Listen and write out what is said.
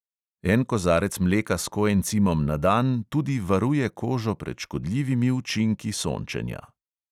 En kozarec mleka s koencimom na dan tudi varuje kožo pred škodljivimi učinki sončenja.